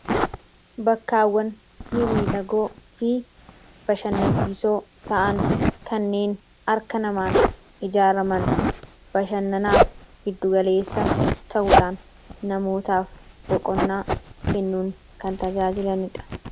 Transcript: Bakkawwan mimmiidhagoo fi bashannansiisoo ta'an kanneen harka namaan ijaaraman, bashannanaaf giddu galeessa ta'uudhaan namootaaf boqonnaa kennuudhaan kan tajaajilanidha.